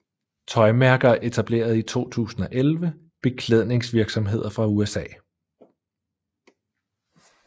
Tøjmærker Etableret i 2011 Beklædningsvirksomheder fra USA